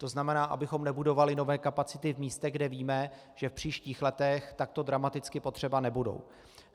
To znamená, abychom nebudovali nové kapacity v místech, kde víme, že v příštích letech takto dramaticky potřeba nebudou.